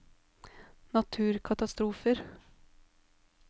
naturkatastrofer